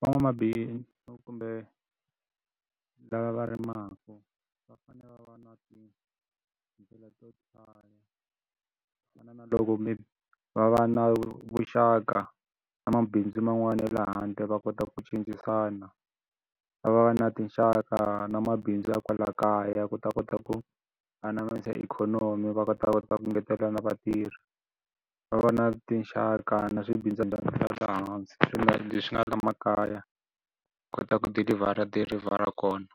Van'wamabindzu kumbe lava va rimaka va fanele va va na tindlela to tala ku fana na loko va va na vuxaka na mabindzu man'wani ya le handle va kota ku cincisana. Va va va na tinxaka na mabindzu ya kwala kaya ku ta kota ku anamisa ikhonomi va kota va kota ku ngetela na vatirhi. Va va na tinxaka na le hansi leswi nga le makaya kota ku deliver-a deliver-a kona.